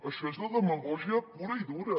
això és de demagògia pura i dura